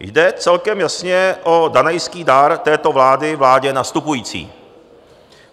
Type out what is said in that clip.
Jde celkem jasně o danajský dar této vlády vládě nastupující.